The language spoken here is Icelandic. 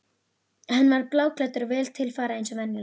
Hann var bláklæddur og vel til fara eins og venjulega.